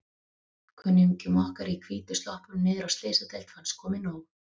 Kunningjum okkar í hvítu sloppunum niðri á Slysadeild fannst komið nóg.